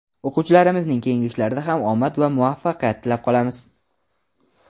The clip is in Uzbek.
O‘quvchilarimizning keyingi ishlarida ham omad va muvaffaqiyat tilab qolamiz!.